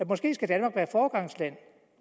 måske skal være foregangsland